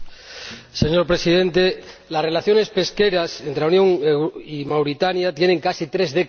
Señor Presidente, las relaciones pesqueras entre la Unión y Mauritania tienen casi tres décadas.